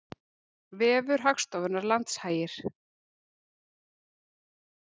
Vefur Hagstofunnar Landshagir